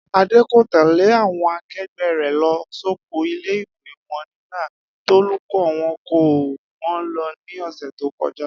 Adé kò tè̩lé àwo̩n ake̩gbé̩ rè̩ lo̩ sóko ilé-ìwé wo̩n nígbà tólùkó̩ wo̩n kó wó̩n lo̩ ní ò̩sè̩ tó ko̩já